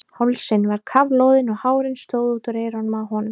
Hálsinn var kafloðinn og hárin stóðu út úr eyrunum á honum.